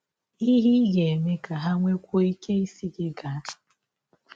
Ihe Ị Ga - eme Ka Ha Nwekwụọ Ike Nwekwụọ Ike Ịsị Gị Gaa